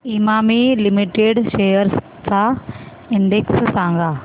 Emami limited shares चा index सांगा